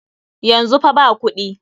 Yanzu fa ba kuɗi.